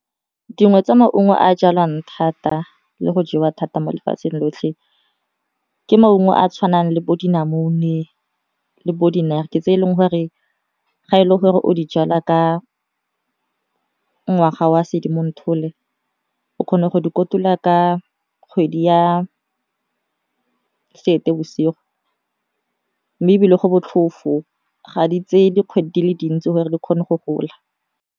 Dingwe tsa maungo a jalwang thata le go jewa thata mo lefatsheng lotlhe ke maungo a tshwanang le bo dinamune e le bo di-naartjie ke tse e leng gore ga e le gore o di jala ka ngwaga wa sedimonthole, o kgone go kotula ka kgwedi ya seetebosigo mme e bile go botlhofo ga di tse dikgwedi dile dintsi gore di kgone go gola.